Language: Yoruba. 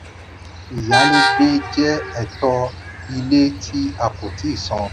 ìyálégbé jẹ ẹ̀tọ́ ilé tí a kò tíì san.